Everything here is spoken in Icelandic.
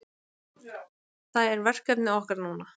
Það er verkefni okkar núna